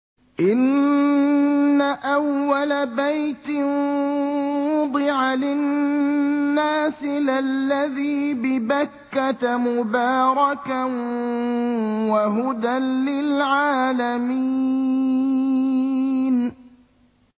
إِنَّ أَوَّلَ بَيْتٍ وُضِعَ لِلنَّاسِ لَلَّذِي بِبَكَّةَ مُبَارَكًا وَهُدًى لِّلْعَالَمِينَ